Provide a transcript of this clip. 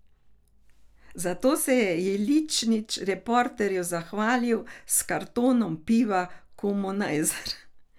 Zato se je Jeličnič Reporterju zahvalil s kartonom piva Komunajzer.